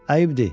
Ayıbdır.